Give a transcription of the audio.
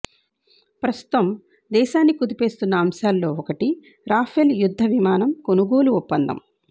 ప్రస్తుతం దేశాన్ని కుదిపేస్తున్న అంశాల్లో ఒకటి రాఫెల్ యుద్ధ విమానం కొనుగోలు ఒప్పందం